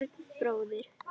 Björn bróðir.